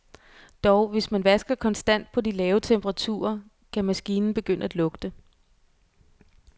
Dog, hvis man vasker konstant på de lave temperaturer, kan maskinen begynde at lugte.